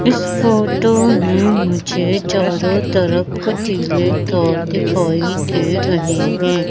इस फोटो में मुझे चारों तरफ कंटीले तार दिखाई दे रहे हैं।